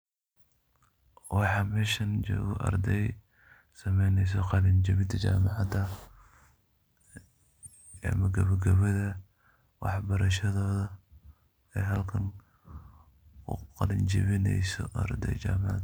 Waxa meeshan jokoh ardey, sameyneysoh qalinjabin amah kabakabatha, waxbarashathotha ee halkan u qalinjabineysoh so arday jamacat.